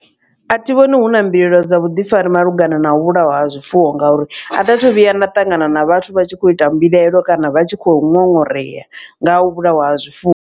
A thi vhoni hu na mbilaelo dza vhuḓifari malugana na u vhulaiwa ha zwifuwo ngauri. Atha thu vhuya nda ṱangana na vhathu vha tshi khou ita mbilaelo kana vha tshi khou ṅoṅoreya nga u vhulaiwa ha zwifuwo.